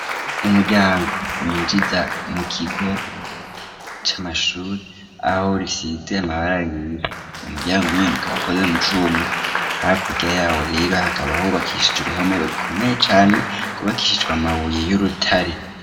Umuryango, winjiza mu kigo, c'amashuri, aho risize amabara yera, umuryango nyene ukaba, ukoze mu cuma; hakurya yawo rero, hakaba hubakishije, uruhome rukomeye cane, rwubakishijwe amabuye, y'urutare.